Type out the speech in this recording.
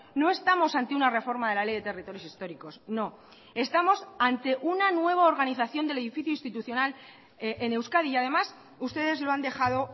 no estamos ante una reforma de la ley de territorios históricos no estamos ante una nueva organización del edificio institucional en euskadi y además ustedes lo han dejado